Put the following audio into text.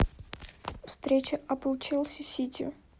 встреча апл челси сити